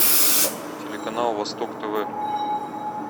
телеканал восток тв